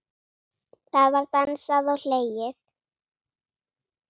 Það var dansað og hlegið.